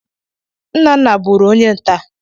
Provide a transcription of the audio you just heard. Nna nna bụụrụ onye nta.